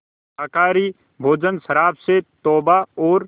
शाकाहारी भोजन शराब से तौबा और